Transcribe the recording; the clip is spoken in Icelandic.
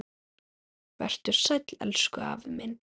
Vertu sæll, elsku afi minn.